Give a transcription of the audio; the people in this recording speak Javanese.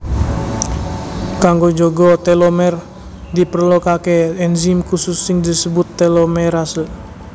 Kanggo njaga telomer diperlokaké enzim khusus sing disebut telomerase